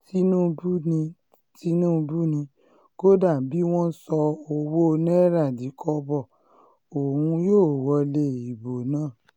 tinubu ni tinubu ni kódà bí wọ́n sọ ọwọ́ náírà di kọ́bọ̀ òun yóò wọlé ìbò náà